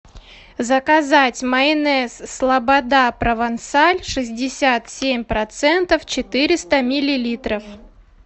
заказать майонез слобода провансаль шестьдесят семь процентов четыреста миллилитров